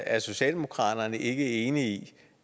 er socialdemokratiet ikke enige i